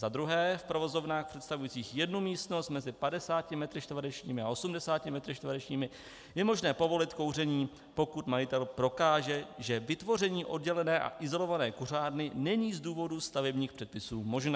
Za druhé, v provozovnách představujících jednu místnost mezi 50 a 80 m2 je možné povolit kouření, pokud majitel prokáže, že vytvoření oddělené a izolované kuřárny není z důvodu stavebních předpisů možné.